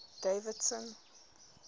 davidson